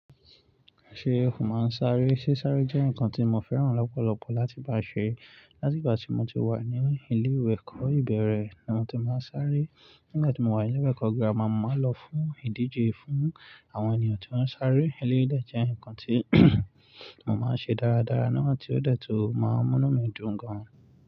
Ṣé ẹkù máa ń sáré? Sé sáré jẹ́ nǹkan tí mo fẹ́ràn lọ́pọ̀lọpọ̀ láti bá ṣe. Láti ìgbà tí mo ti wà ní ilé ìwé ẹ̀kọ́ ìbẹ̀rẹ̀ ni mo ti máa ń sáré. Nígbà tí mo wà ní ilé ẹ̀kọ́ gírámà, mo máa ń lọ fún ìdíje fún àwọn ènìyàn tí wọ́n ń sáré. Elérí dẹ̀ jẹ́ nǹkan tí mo máa ń ṣe dáradára náà tí ó dẹtu máa mú inu mí dùn gan-an.